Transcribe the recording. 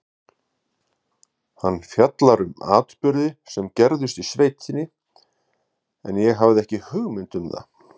Hann fjallar um atburði sem gerðust í sveitinni, en ég hafði ekki hugmynd um.